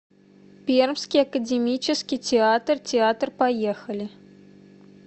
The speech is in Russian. пермский академический театр театр поехали